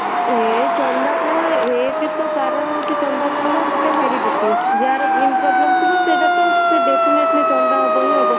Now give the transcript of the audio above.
ଏ ଚନ୍ଦା ପାଣ ଏକେ ତ କାରଣ ହଉଚି ଚନ୍ଦା ପଣ ର ଗୋଟେ heredity ଯାହାର gene problem ଥିବ ସେଇଟା ତ ସେ definitely ଚନ୍ଦା ହବ ହିଁ ହବ